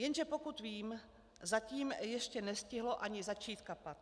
Jenže pokud vím, zatím ještě nestihlo ani začít kapat.